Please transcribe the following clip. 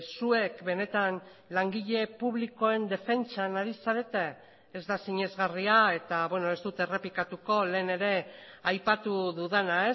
zuek benetan langile publikoen defentsan ari zarete ez da sinesgarria eta ez dut errepikatuko lehen ere aipatu dudana